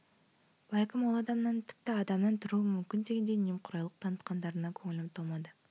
бәлкім ол адамнан адамнан тіпті адамнан тұруы мүмкін дегендей немқұрайлылық танытқандарына көңілім толмады